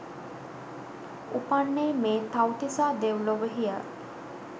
උපන්නේ මේ තව්තිසා දෙව් ලොවෙහි ය.